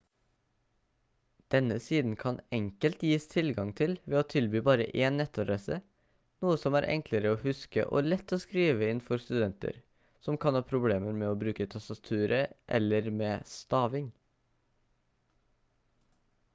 denne siden kan enkelt gis tilgang til ved å tilby bare én nettadresse noe som er enklere å huske og lett å skrive inn for studenter som kan ha problemer med å bruke tastaturet eller med staving